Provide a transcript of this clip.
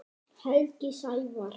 Helgi Sævar.